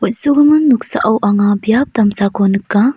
noksao anga biap damsako nika.